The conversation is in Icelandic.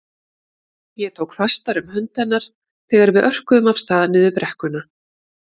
Ég tók fastar um hönd hennar þegar við örkuðum af stað niður brekkuna.